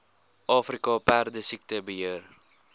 afrika perdesiekte beheer